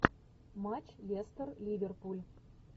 матч лестер ливерпуль